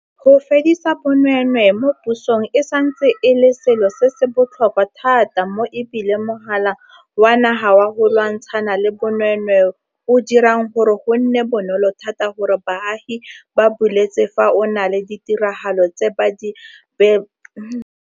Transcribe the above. Go fedisa bonweenwee mo pusong e santse e le selo se se botlhokwa thata mo e bile Mogala wa Naga wa go Lwantshana le Bonweenwee o dirang gore go nne bonolo thata gore baagi ba buletse fa go na le ditiragalo tse ba belaelang e le tsa bonweenwee.